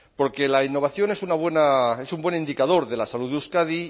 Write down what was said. porque la innovación es un buen indicador de la salud de euskadi